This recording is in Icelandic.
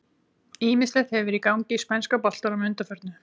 Ýmislegt hefur verið í gangi í spænska boltanum að undanförnu.